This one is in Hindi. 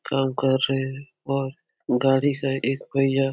काम कर रहे है और गाडी का एक पहिया --